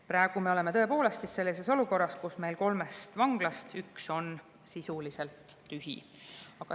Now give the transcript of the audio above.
Praegu me oleme tõepoolest sellises olukorras, kus meil kolmest vanglast üks on sisuliselt tühi.